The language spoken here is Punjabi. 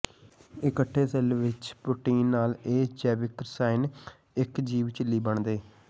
ਇਕੱਠੇ ਸੈੱਲ ਵਿਚ ਪ੍ਰੋਟੀਨ ਨਾਲ ਇਹ ਜੈਵਿਕ ਰਸਾਇਣ ਇੱਕ ਜੀਵ ਝਿੱਲੀ ਬਣਦੇ